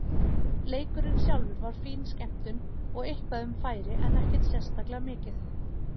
Leikurinn sjálfur var fín skemmtun og eitthvað um færi en ekkert sérstaklega mikið.